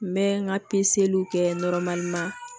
N bɛ n ka pezeliw kɛ